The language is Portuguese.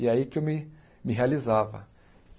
E é aí que eu me me realizava.